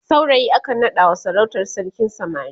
saurayi akan naɗawa sarautar sarkin samari